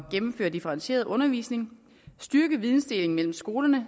gennemføre differentieret undervisning styrke videndelingen mellem skolerne